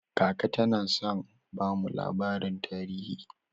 Kaka tana son bamu labarin tarihi.